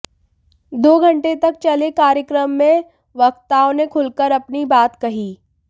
दो घंटे तक चले कार्यक्रम में वक्ताओं ने खुलकर अपनी बात कही